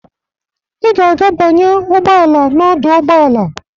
Ị ga-aga banye ụgbọ ala n'ọdụ ụgbọ ala.